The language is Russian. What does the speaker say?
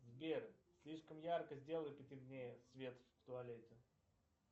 сбер слишком ярко сделай по темнее свет в туалете